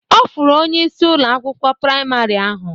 Ọ fụrụ onyeisi Ụlọ akwụkwọ praịmarị ahụ.